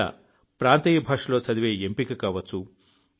లేదా ప్రాంతీయ భాషలో చదివే ఎంపిక కావచ్చు